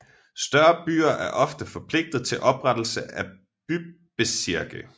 Større byer er ofte forpligtet til oprettelsen af bybezirke